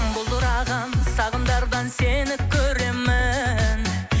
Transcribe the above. бұлдыраған сағымдардан сені көремін